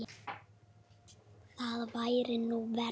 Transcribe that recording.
Það væri nú verra.